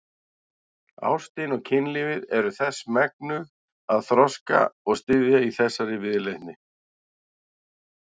Ástin og kynlífið eru þess megnug að þroska og styðja í þessari viðleitni.